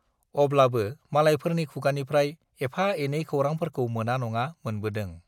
अब्लाबो मालायफोरनि खुगानिफ्राय एफा-एनै खौरांफोरखौ मोना नङा मोनबोदों।